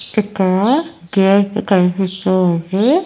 ఇక్కడ గేటు కనిపిస్తూ ఉంది.